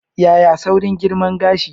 Yaya saurin girma gashi?